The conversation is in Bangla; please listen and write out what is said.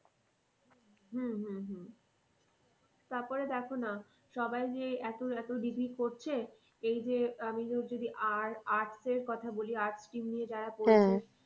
হম হম হম তারপরে দেখো না সবাই যে এতো এতো degree করছে এই যে আমি ধর যদি arts এর কথা বলি arts নিয়ে যারা পড়ছে।